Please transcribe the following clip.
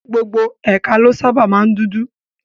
Gbogbo ẹ̀ka ló sábàa máa ń dúdú